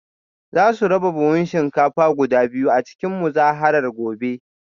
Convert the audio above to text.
Za su raba buhunan shinkafa guda biyu a cikin muzaharar gobe